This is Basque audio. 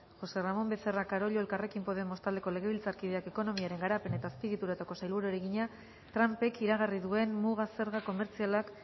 josé ramón becerra carollo elkarrekin podemos taldeko legebiltzarkideak ekonomiaren garapen eta azpiegituretako sailburuari egina trumpek iragarri duen muga zerga komertzialak